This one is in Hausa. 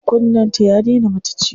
Kunnen ta ya daina mata ciwo.